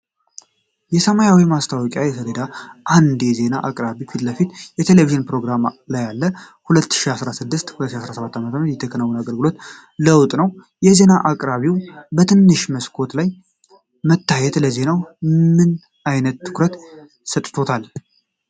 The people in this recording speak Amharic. የሰማያዊ ማስታወቂያ ሰሌዳ አንድ የዜና አቅራቢ ፊት ለፊት በቴሌቪዥን ፕሮግራም ላይ አለ። ከ2016 እስከ 2017 ዓ.ም. የተከናወነ አገልግሎት ለውጥ ነው። የዜና አቅራቢው በትንሹ መስኮት ላይ መታየት ለዜናው ምን ዓይነት ትኩረት ሰጥቷል?